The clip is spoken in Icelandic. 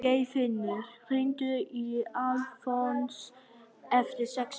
Geirfinnur, hringdu í Alfons eftir sex mínútur.